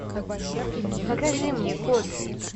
покажи мне код